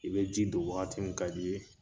I be ji don wagati mi ka d'i ye